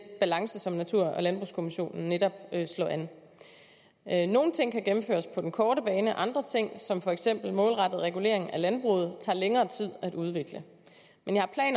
balance som natur og landbrugskommissionen netop slår an an nogle ting kan gennemføres på den korte bane og andre ting som for eksempel målrettet regulering af landbruget tager længere tid at udvikle men jeg